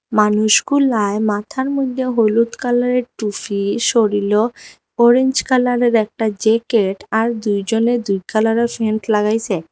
মানুষগুলায় মাথার মদ্যে হলুদ কালারের টুফি শরীলও অরেঞ্জ কালারের একটা জেকেট আর দুইজনে দুই কালারের ফ্যান্ট লাগাইসে।